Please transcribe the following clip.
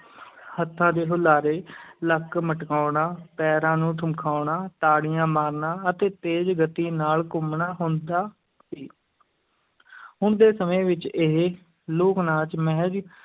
ਹੱਥਾਂ ਦੇ ਹੁਲਾਰੇ ਲੱਕ ਮਟਕਾਉਣਾ, ਪੈਰਾਂ ਨੂੰ ਠੁਮਕਾਉਣਾ, ਤਾੜੀਆਂ ਮਾਰਨਾ ਅਤੇ ਤੇਜ਼ ਗਤੀ ਨਾਲ ਘੁੰਮਣਾ ਹੁੰਦਾ ਹੁਣ ਦੇ ਸਮੇਂ ਵਿੱਚ ਇਹ ਲੋਕ-ਨਾਚ ਮਹਿਜ